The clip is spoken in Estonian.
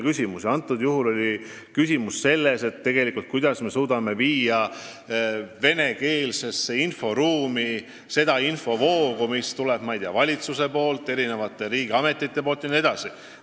Praegusel juhul on küsimus tegelikult selles, kuidas me suudame viia venekeelsesse inforuumi seda infovoogu, mis tuleb valitsuselt, riigiametitelt jne.